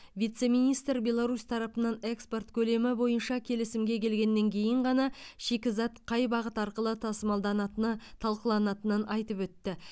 вице министр беларусь тарапымен экспорт көлемі бойынша келісімге келгеннен кейін ғана шикізат қай бағыт арқылы тасымалданатыны талқыланатынын айтып өтті